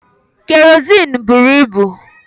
Kerọsinụ bụrụ ibu.